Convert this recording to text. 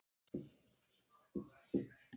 Þarna var hann þá!